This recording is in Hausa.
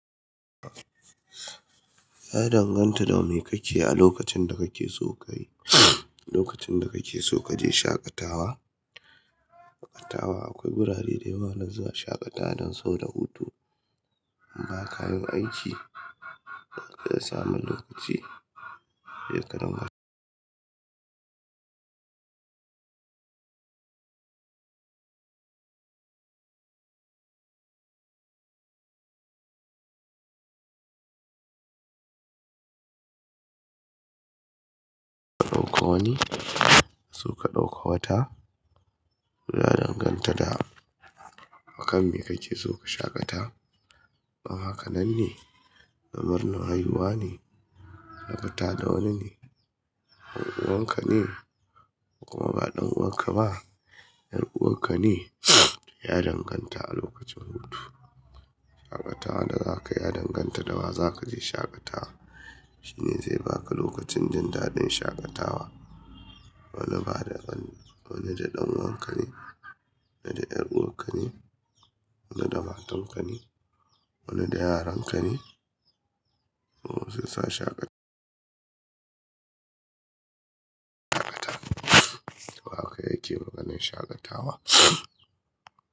Ya danganta da me kake a lokacin da kake so ka yi, lokacin da kake so ka je shaƙatawa, shaƙatawa akwai wurare da yawa wanda za'a shaƙata don so da hutu, inba kayin aiki. Da samun lokaci, sai ka dinga. Ɗauko wani, kaso ka dauko wata. Ya danganta da akan me kake so ka shaƙata. Ma hakanan ne? Lamarin haihuwa ne? Ka fita da wani ne? 'Yan uwanka ne? Kuma ba ɗan uwanka ba, ƴar uwarka ne? Ya danganta a lokacin hutu. Shaƙatawa da za ka yi ya danganta da wa za ka je shaƙatawa. Shi ne zai ba ka lokacin jindaɗin shaƙatawa. Wani da ɗan'uwanka ne? Wane da ƴar'uwarka ne? Wani da matanka ne, wani da yaran ka ne, ko sai sa shaƙatawa. Wa ka yake maganan shaƙatawa?